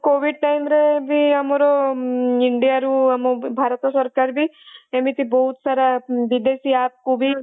covid time ରେ ବି ଆମର india ରୁ ଆମ ଭାରତ ସରକାର ବି ଏମିତି ବହୁତସାରା ବିଦେଶୀ app କୁ ବି